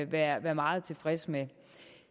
være meget tilfreds med